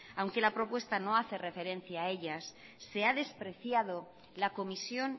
aunque la propuesta no hace referencia a ellas se ha despreciado la comisión